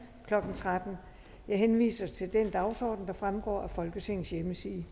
klokken tretten jeg henviser til den dagsorden der fremgår af folketingets hjemmeside